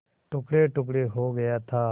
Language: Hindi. टुकड़ेटुकड़े हो गया था